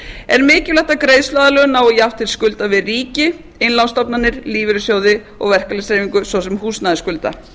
er mikilvægt að greiðsluaðlögun nái jafnt til skulda við ríkið innlánsstofnanir lífeyrissjóði og verkalýðshreyfingu svo sem húsnæðisskulda